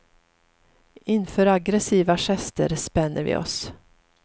Inför aggressiva gester spänner vi oss.